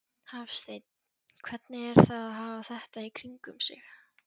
Hafsteinn: Hvernig er að hafa þetta í kringum sig?